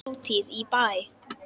Hátíð í bæ